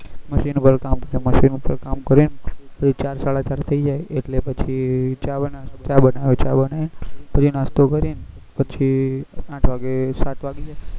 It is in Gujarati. મશીન work કામ કરે મશીન કામ કરીન પછી ચાર સાડા ચાર થઇ જાય એટલે પછી ચા બનાવે ચા બનાવીને પછી નાસ્તો કરીન પછી આઠ વાગે સાત વાગી જાય